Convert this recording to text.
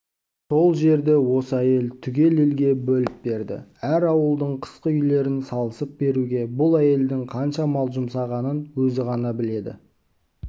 сол жерді осы әйел түгел елге бөліп берді әр ауылдың қысқы үйлерін салысып беруге бұл әйелдің қанша мал жұмсағанын өзі ғана біледі